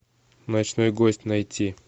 ночной гость найти